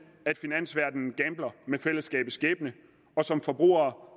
at finansverdenen gambler med fællesskabets skæbne og som forbrugere